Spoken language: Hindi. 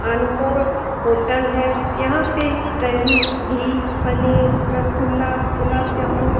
अनमोल होटल है यहाँ पे दही घी पनीर रसगुल्ला गुलाबजामुन --